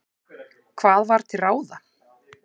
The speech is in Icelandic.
Hvað var til ráða?